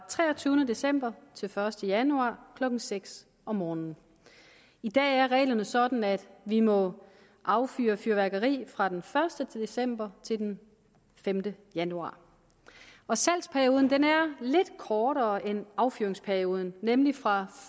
treogtyvende december til den første januar klokken seks om morgenen i dag er reglerne sådan at vi må affyre fyrværkeri fra den første december til den femte januar og salgsperioden er lidt kortere end affyringsperioden nemlig fra